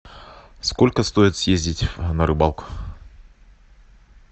сколько стоит съездить на рыбалку